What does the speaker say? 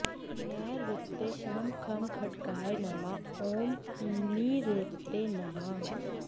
नैरृत्ये ॐ खं खड्गाय नमः ॐ निरृतये नमः